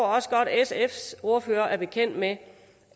også godt at sfs ordfører er bekendt med